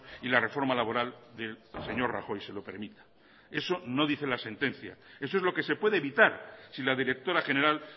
y la reforma laboral del señor rajoy se lo permita eso no dice la sentencia eso es lo que se puede evitar si la directora general